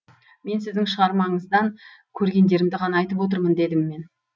мен сіздің шығармаңыздан көргендерімді ғана айтып отырмын дедім мен